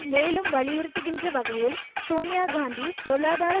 மேலும் வலியுறுத்துகின்ற வகையில் சோனியா காந்தி பொருளாதார